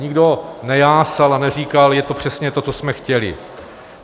Nikdo nejásal a neříkal: Je to přesně to, co jsme chtěli.